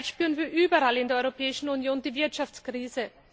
Zurzeit spüren wir überall in der Europäischen Union die Wirtschaftskrise.